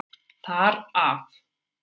Þar af.